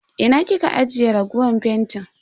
Ina kika ajiye raguwar fentin?